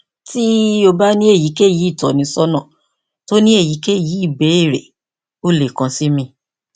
ti o ba ni eyikeyi itọnisọna ti o ni eyikeyi ibeere o le kan si mi